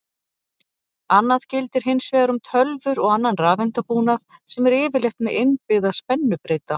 Annað gildir hins vegar um tölvur og annan rafeindabúnað sem er yfirleitt með innbyggða spennubreyta.